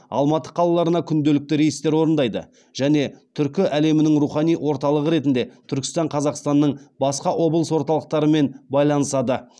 алматы қалаларына күнделікті рейстер орындайды және түркі әлемінің рухани орталығы ретінде түркістан қазақстанның басқа облыс орталықтармен байланысады